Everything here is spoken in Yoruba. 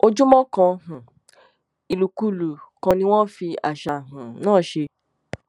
ojúmọ kan um ìlùkulù kan ni wọn fi àṣà um náà ṣe